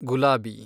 ಗುಲಾಬಿ